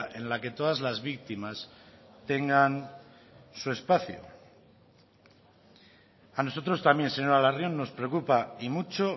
en la que todas las víctimas tengan su espacio a nosotros también señora larrion nos preocupa y mucho